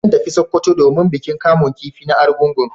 Zan tafi sokoto domin bikin kamun kifi na arungugun